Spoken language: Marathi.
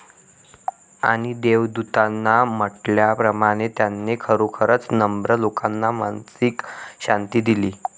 आणि देवदूतांनी म्हटल्याप्रमाणे त्याने खरोखरच नम्र लोकांना मानसिक शांती दिली.